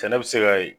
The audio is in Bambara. Sɛnɛ bɛ se ka ye